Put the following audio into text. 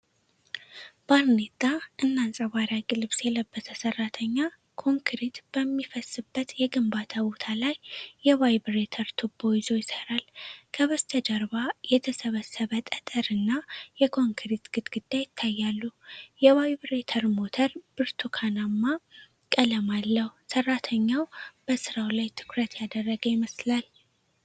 ባርኔጣ እና አንጸባራቂ ልብስ የለበሰ ሰራተኛ፣ ኮንክሪት በሚፈስበት የግንባታ ቦታ ላይ የቫይብሬተር ቱቦ ይዞ ይሠራል። ከበስተጀርባ የተሰበሰበ ጠጠርና የኮንክሪት ግድግዳ ይታያሉ። የቫይብሬተር ሞተር ብርቱካንማ ቀለም አለው። ሰራተኛው በስራው ላይ ትኩረት ያደረገ ይመስላል።